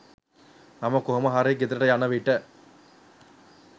මම කොහොමහරි ගෙදරට යන විට